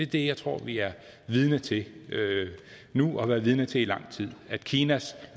det jeg tror vi er vidne til nu og har været vidne til i lang tid kinas